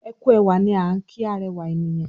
ẹkú ẹwà ní an ki arẹwa ènìyàn.